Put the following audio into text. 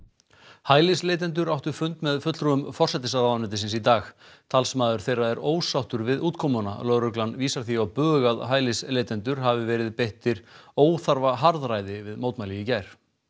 hælisleitendur áttu fund með fulltrúum forsætisráðuneytisins í dag talsmaður þeirra er ósáttur við útkomuna lögreglan vísar því á bug að hælisleitendur hafi verið beittir óþarfa harðræði við mótmæli í gær